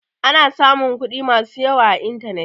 Ana samun kuɗi masu yawa a intanet.